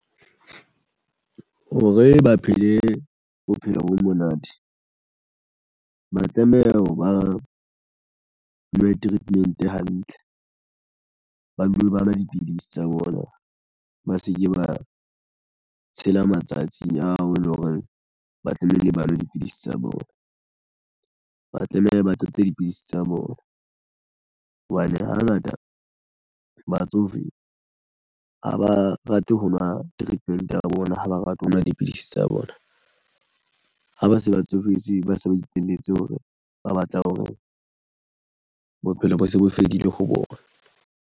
Hore ba phele bophelo bo monate ba tlameha ho ba nwe treatment hantle ba dule ba nwa dipidisi tsa bona ba se ke ba tshela matsatsi ao e leng hore ba tlamehile ba nwe dipidisi tsa bona. Ba tlameha ba qetetse dipidisi tsa bona hobane hangata batsofe ha ba rate ho nwa treatment ya bona ha ba rate ho nwa dipidisi tsa bona ha ba se ba tsofetse ba se ba ipolelletse hore ba batla hore bophelo bo se bo fedile ho bona.